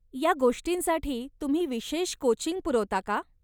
या गोष्टींसाठी तुम्ही विशेष कोचिंग पुरवता का?